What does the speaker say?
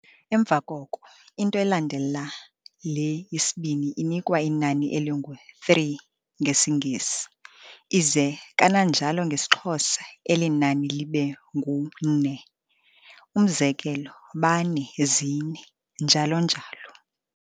Emva koko, into elandela le yesibini inikwa inani elingu'three' ngesiNgesi, ize kananjalo ngesiXhosa elinani libe ngu-ne, umzekelo bane, zine, njalo njalo.